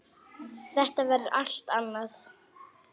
Þetta verður allt annað.